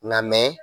Nka mɛ